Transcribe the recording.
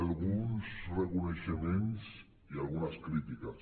alguns reconeixements i algunes crítiques